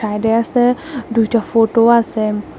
সাইডে আসে দুইটা ফোটো আসে।